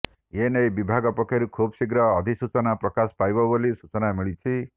ଏ ନେଇ ବିଭାଗ ପକ୍ଷରୁ ଖୁବଶୀଘ୍ର ଅଧିସୂଚନା ପ୍ରକାଶ ପାଇବ ବୋଲି ସୂଚନା ମିଳିଛି